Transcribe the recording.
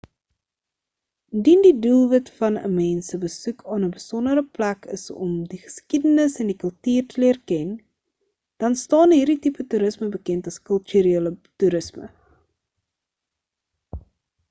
indien die doelwit van 'n mens se besoek aan 'n besondere plek is om die geskiedenis en die kultuur te leer ken dan staan hierdie tipe toerisme bekend as kulturele toerisme